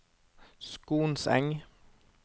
Skonseng